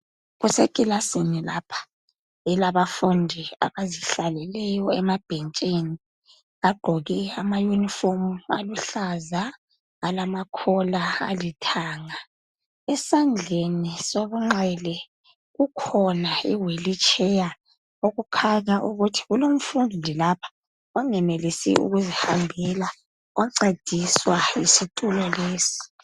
Kusekilasini lapha elabafundi abazihlaleleyo emabhentshini. Bagqoke amayunifomu aluhlaza alamakhola alithanga. Esandleni sokunxele kukhona ihwilitsheya okukhanya ukuthi kulomfundi lapha onngenelisi ukuzihambela oncediswa yisitulo lesi.